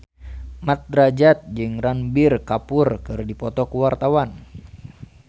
Mat Drajat jeung Ranbir Kapoor keur dipoto ku wartawan